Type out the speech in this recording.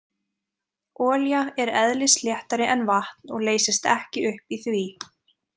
Olía er eðlisléttari en vatn og leysist ekki upp í því.